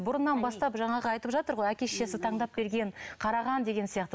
бұрыннан бастап жаңағы айтып жатыр ғой әке шешесі таңдап берген қараған деген сияқты